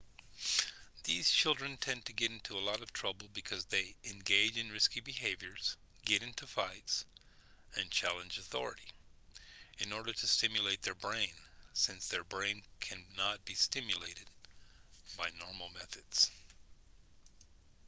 these children tend to get into a lot of trouble because they engage in risky behaviors get into fights and challenge authority in order to stimulate their brain since their brain can not be stimulated by normal methods